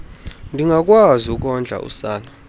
ndingakwazi ukondla usana